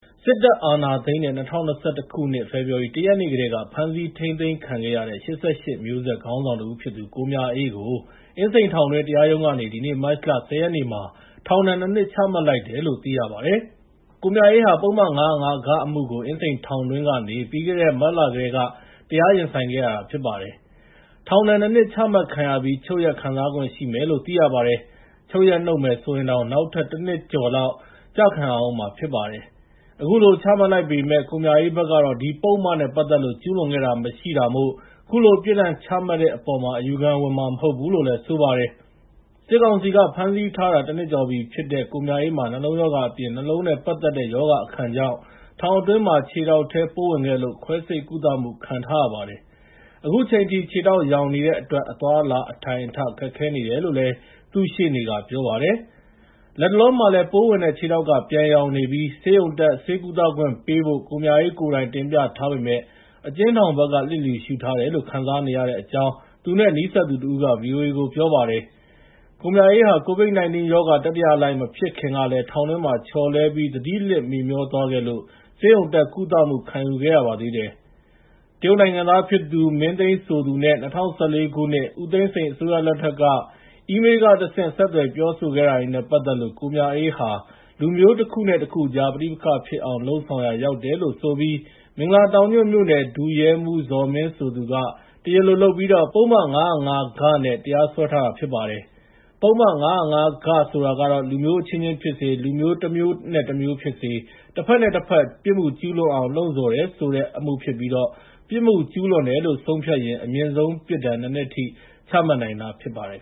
စစ်တပ်အာဏာသိမ်းတဲ့ ၂၀၂၁ ခုနှစ်၊ ဖေဖော်ဝါရီ ၁ ရက်နေ့ကတည်းက ဖမ်းဆီးထိန်းသိမ်းခံခဲ့ရတဲ့ ၈၈ မျိုးဆက် ခေါင်းဆောင်တဦးဖြစ်သူကိုမြအေးကို အင်းစိန်ထောင်တွင်းတရားရုံးကနေ ဒီနေ့ မတ်လ ၁၀ ရက်မှာ ထောင်ဒဏ် နှစ်နှစ် ချမှတ်လိုက်တယ်လို့ သိရပါတယ်။ ကိုမြအေးဟာ ပုဒ်မ ၅၀၅-ဂ အမှုကို အင်းစိန်ထောင်တွင်းကနေ ပြီးခဲ့တဲ့နှစ် မတ်လကတည်းက တရားရင်ဆိုင်ခဲ့ရတာဖြစ်ပါတယ်။ ထောင်ဒဏ် နှစ်နှစ်ချမှတ်ခံရပြီး ချုပ်ရက် ခံစားခွင့်ရှိမယ်လို့ သိရပါတယ်။ ချုပ်ရက် နုတ်မယ်ဆိုရင်တောင် နောက်ထပ် တနှစ်ကျော်လောက် ကျခံရဦးမှာဖြစ်ပါတယ်။ အခုလို ချမှတ်လိုက်ပေမယ့် ကိုမြအေးဘက်ကတော့ ဒီပုဒ်မနဲ့ပတ်သက်လို့ ကျူးလွန်ခဲ့တာမရှိတာမို့ ခုလိုပြစ်ဒဏ်ချမှတ်တဲ့အပေါ် အယူခံဝင်မှာ မဟုတ်ဘူးလို့ ဆိုပါတယ်။ စစ်ကောင်စီက ဖမ်းဆီးထားတာ ၁ နှစ်ကျော်ရှိပြီဖြစ်တဲ့ ကိုမြအေးမှာ နှလုံးရောဂါအပြင် နှလုံးနဲ့ပတ်သက်တဲ့ ရောဂါအခံကြောင့် ထောင်အတွင်းမှာ ခြေထောက်ထဲပိုးဝင်ခဲ့လို့ ခွဲစိတ်ကုသမှုခံထားရပါတယ်။ အခုချိန်ထိ ခြေထောက်ယောင်နေတဲ့အတွက် အသွားအလာ အထိုင်အထ ခက်ခဲနေတယ်လို့ သူ့ရှေ့နေကပြောပါတယ်။ လတ်တလောမှာလည်း ပိုးဝင်တဲ့ခြေထောက်က ပြန်ယောင်နေပြီး ဆေးရုံတက် ဆေးကုသခွင့်ပေးဖို့ ကိုမြအေးကိုယ်တိုင် တင်ပြထားပေမယ့် အကျဉ်းထောင်ဘက်က လျစ်လျူရှုထားတယ်လို့ ခံစားနေရတဲ့အကြောင်း သူ့နဲ့နီးစပ်သူတဦးက ဗွီအိုအေကိုပြောပါ တယ်။ ကိုမြအေးဟာ ကိုဗစ်-၁၉ ရောဂါ တတိယလှိုင်းမဖြစ်ခင်ကလည်း ထောင်တွင်းမှာ ချော်လဲပြီး သတိလစ်မေ့မြောသွားခဲ့လို့ ဆေးရုံတက် ကုသမှု ခံယူခဲ့ရပါသေးတယ်။ တရုတ်နိုင်ငံသားဖြစ်သူ မင်းသိမ်းဆိုသူနဲ့ ၂၀၁၄ ခုနှစ် ဦးသိန်းစိန်အစိုးရလက်ထက် က အီးမေးလ် (E-mail) ကတဆင့် ဆက်သွယ်ပြောဆိုခဲ့တာတွေနဲ့ပတ်သက်လို့ ကိုမြအေးဟာ လူမျိုးတခုနဲ့တခုကြား ပဋိပက္ခဖြစ်အောင် လုပ်ဆောင်ရာ ရောက်တယ်လို့ဆိုပြီး မင်္ဂလာတောင်ညွှန့်မြို့နယ် ဒုရဲမှူးဇော်မင်းဆိုသူက တရားလိုလုပ်ပြီး ပုဒ်မ ၅၀၅ (ဂ) နဲ့ တရားစွဲထားတာဖြစ်ပါတယ်။ ပုဒ်မ ၅၀၅-ဂ ဆိုတာက လူမျိုးအချင်းချင်းဖြစ်စေ လူမျိုး တမျိုးနဲ့တမျိုးဖြစ်စေ တဘက်နဲ့တဘက် ပြစ်မှုကျူးလွန်အောင် လှုံ့ဆော်တယ်ဆိုတဲ့ အမှုဖြစ်ပြီး ပြစ်မှုကျူးလွန်တယ်လို့ ဆုံးဖြတ်ရင် အမြင့်ဆုံးပြစ်ဒဏ် နှစ်နှစ်ထိ ချမှတ်နိုင်တာဖြစ်ပါတယ်